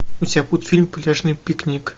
у тебя будет фильм пляжный пикник